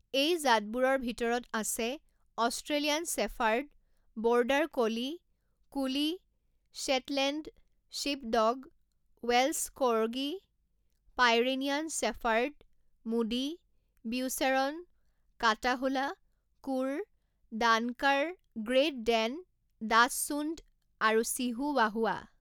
এই জাতবোৰৰ ভিতৰত আছে Australian shepherd, border collie, collie, Shetland sheepdog, Welsh corgi, Pyrenean shepherd, mudi, Beauceron, Catahoula cur, Dunker, great Dane, dachshund আৰু Chihuahua.